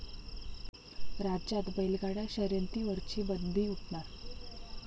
राज्यात बैलगाडा शर्यतींवरची बंदी उठणार?